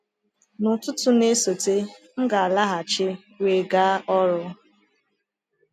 N’ụtụtụ na-esote, m ga-alaghachi wee gaa ọrụ.